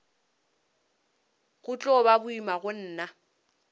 go tlo ba boima gona